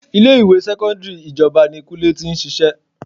3. Ilé ìwé sẹ́kọ́ńdírì ìjọba ni kúnlé tí ń ṣíṣe.